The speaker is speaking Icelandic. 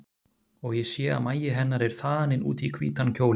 Og ég sé að magi hennar er þaninn út í hvítan kjólinn.